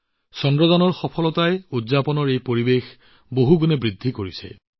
চন্দ্ৰযানৰ সফলতাই উৎসৱৰ এই আনন্দ কেইবাগুণ বৃদ্ধি কৰিলে